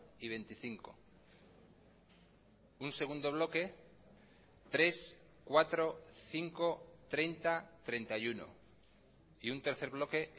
y veinticinco un segundo bloque tres cuatro cinco treinta treinta y uno y un tercer bloque